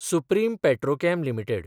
supreme petrochem limited